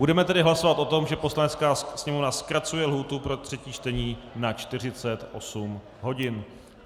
Budeme tedy hlasovat o tom, že Poslanecká sněmovna zkracuje lhůtu pro třetí čtení na 48 hodin.